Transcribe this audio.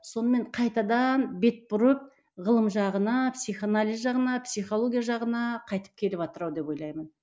сонымен қайтадан бет бұрып ғылым жағына психоанализ жағына психология жағына қайтып келіватыр ау деп ойлаймын